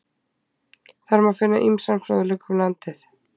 Þar má finna ýmsan fróðleik um landið.